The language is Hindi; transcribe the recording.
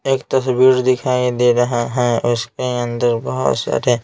एक तस्वीर दिखाई दे रहा है उसके अंदर बहुत सारे--